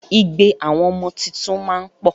Igbe àwọn ọmọ tuntun máa ń pọ̀